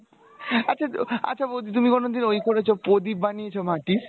আচ্ছা আচ্ছা বৌদি তুমি কোনো দিন ঐ করেছো প্রদীপ বানিয়েছো মাটির